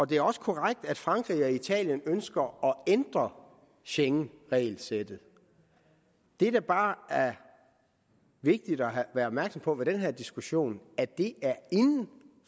det er også korrekt at frankrig og italien ønsker at ændre schengenregelsættet det der bare er vigtigt at være opmærksom på ved den her diskussion at det er inden